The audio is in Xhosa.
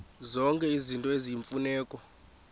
zonke izinto eziyimfuneko